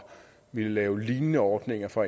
ville lave lignende ordninger for